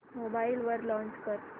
mobile वर launch कर